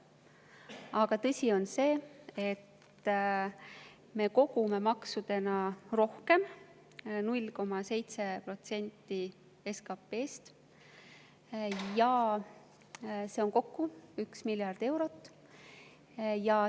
Aga tõsi on see, et me kogume maksudena rohkem kokku, 0,7% SKP‑st, see on 1 miljard eurot.